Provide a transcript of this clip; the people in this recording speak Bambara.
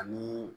Ani